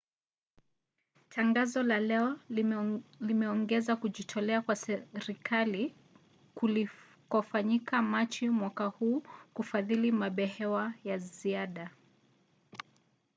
tangazo la leo limeongeza kujitolea kwa serikali kulikofanyika machi mwaka huu kufadhili mabehewa ya ziada